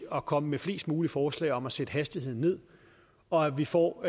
at komme med flest mulige forslag om at sætte hastigheden ned og vi får